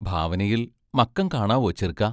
ഭാവനയിൽ മക്കം കാണാവോ ചെറ്ക്കാ?